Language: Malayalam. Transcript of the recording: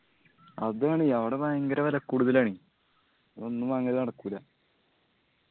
അതാണ് അവട വയങ്കര വെല കൂടുതലാണ് ഒന്നും വാങ്ങല് നടക്കൂല്ല